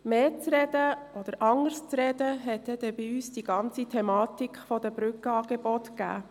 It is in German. Mehr zu reden gab für uns die Thematik der Brückenangebote.